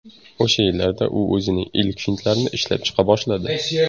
O‘sha yillarda u o‘zining ilk fintlarini ishlab chiqa boshladi.